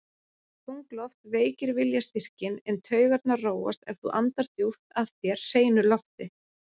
Þung loft veikir viljastyrkinn, en taugarnar róast ef þú andar djúpt að þér hreinu lofti.